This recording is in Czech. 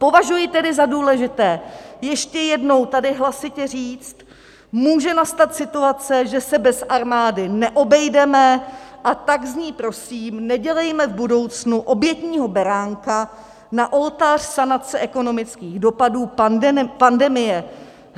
Považuji tedy za důležité ještě jednou tady hlasitě říct: Může nastat situace, že se bez armády neobejdeme, a tak z ní prosím nedělejme v budoucnu obětního beránka na oltář sanace ekonomických dopadů pandemie.